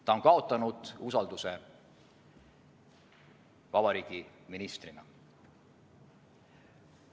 Ta on kaotanud usalduse vabariigi ministrina.